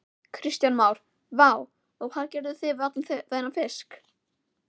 Kristján Már: Vá, og hvað gerirðu við allan þennan fisk?